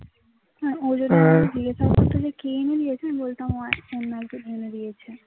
হ্যাঁ ও যদি একবার জিজ্ঞাসা করতো যে কে এনে দিয়েছে আমি বলতাম অন্য একজন এনে দিয়েছে